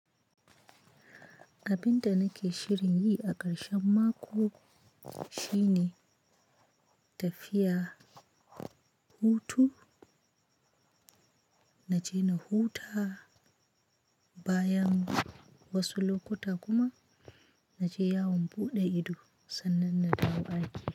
Abinda nake shirin yi a ƙarshen mako shine tafiya, hutu, na je na huta bayan wasu lokuta kuma na je yawon buɗe ido sannan na dawo aiki.